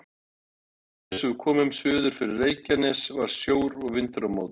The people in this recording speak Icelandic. Undir eins og við komum suður fyrir Reykjanes var sjór og vindur á móti.